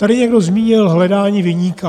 Tady někdo zmínil hledání viníka.